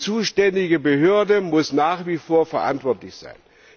Die zuständige Behörde muss nach wie vor verantwortlich sein.